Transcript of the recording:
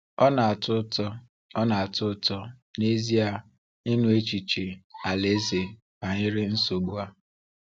Ọ na-atọ ụtọ Ọ na-atọ ụtọ n'ezie ịnụ echiche Alaeze banyere nsogbu a.